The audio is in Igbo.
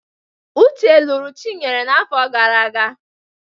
Uche lụrụ Chinyere n'afọ gara aga.